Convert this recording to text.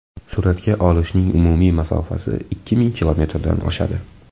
Suratga olishning umumiy masofasi ikki ming kilometrdan oshadi.